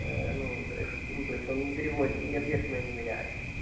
ну то есть он не переводит ответственное не меняет